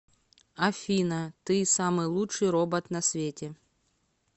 афина ты самый лучший робот на свете